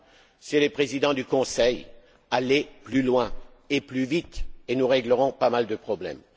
Messieurs les présidents du Conseil, allez plus loin et plus vite, et nous réglerons pas mal de problèmes.